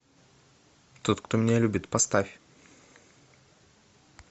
тот кто меня любит поставь